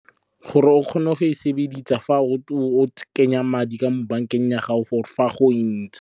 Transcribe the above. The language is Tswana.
Gore o kgone go e sebedisa fa o kenya madi ka mo bankeng ya gago for fa go .